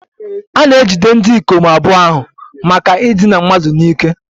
A na-ejide ndị ikom abụọ ahụ maka idina mmadụ n'ike